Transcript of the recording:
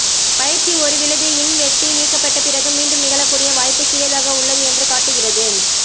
பயிற்சி ஒரு விழுது இன் வெட்டி நீக்கப்பட்ட பிறகு மீண்டும் நிகழக்கூடிய வாய்ப்புக் சிறியதாக உள்ளது என்று காட்டுகிறது